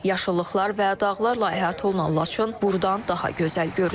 Yaşıllıqlar və dağlarla əhatə olunan Laçın buradan daha gözəl görünür.